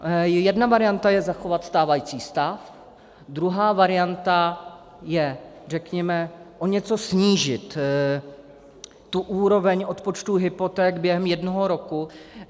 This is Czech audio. Jedna varianta je zachovat stávající stav, druhá varianta je, řekněme, o něco snížit tu úroveň odpočtu hypoték během jednoho roku.